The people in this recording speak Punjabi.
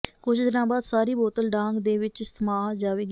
ਕੁਝ ਦਿਨਾਂ ਬਾਅਦ ਸਾਰੀ ਬੋਤਲ ਡਾਂਗ ਦੇ ਵਿੱਚ ਸਮਾਅ ਜਾਵੇਗੀ